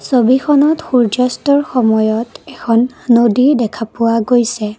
ছবিখনত সূৰ্য্য অস্তৰ সময়ত এখন নদী দেখা পোৱা গৈছে।